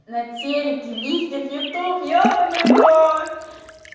на телеке листьев ютуб ёбанный рот